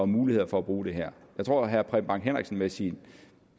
muligheder for at bruge det her jeg tror at herre preben bang henriksen med sin